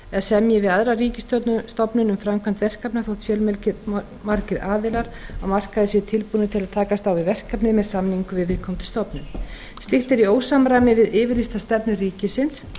eða semji við aðra ríkisstofnun um framkvæmd verkefna þótt fjölmargir aðilar á markaði séu tilbúnir til að takast á við verkefnið með samningum við viðkomandi stofnun slíkt er í ósamræmi við yfirlýsta stefnu ríkisins